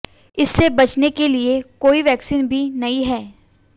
इससे बचने के लिए कोई वैक्सीन भी नहीं है